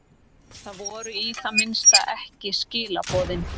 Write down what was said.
Það voru í það minnsta ekki skilaboðin.